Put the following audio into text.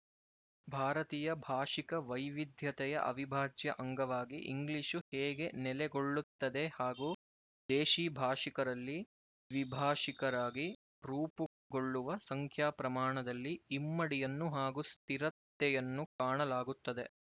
ಭಾರತೀಯ ಭಾಶಿಕ ವೈವಿಧ್ಯತೆಯ ಅವಿಭಾಜ್ಯ ಅಂಗವಾಗಿ ಇಂಗ್ಲಿಶು ಹೇಗೆ ನೆಲೆಗೊಳ್ಳುತ್ತದೆ ಹಾಗೂ ದೇಶೀ ಭಾಷಿಕರಲ್ಲಿ ದ್ವಿಭಾಶಿಕರಾಗಿ ರೂಪುಗೊಳ್ಳುವ ಸಂಖ್ಯಾ ಪ್ರಮಾಣದಲ್ಲಿ ಇಮ್ಮಡಿಯನ್ನು ಹಾಗೂ ಸ್ಥಿರತೆಯನ್ನು ಕಾಣಲಾಗುತ್ತದೆ